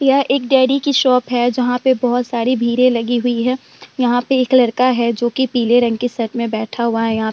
यह एक डेयरी की शॉप है। जहाँ पे बहुत सारी भीड़े लगी हुई है। यहाँ पे एक लड़का है जो की पीले रंग के शर्ट में बैठा हुआ है यहां पे |